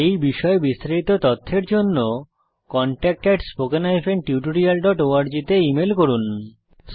এই বিষয়ে বিস্তারিত তথ্যের জন্য contactspoken tutorialorg তে ইমেল করুন